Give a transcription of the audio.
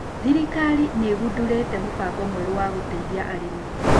Thirikari nĩigundurĩte mũbango mwerũ wa gũteithia arĩmi.